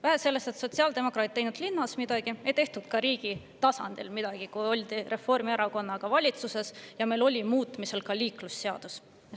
Vähe sellest, et sotsiaaldemokraadid ei teinud linnas midagi, ei tehtud ka riigi tasandil midagi, kui oldi Reformierakonnaga valitsuses ja meil oli muutmisel ka liiklusseadus.